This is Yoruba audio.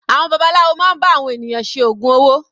Àwọn babaláwo máa ń bá àwọn ènìyàn ṣe ògùn owó.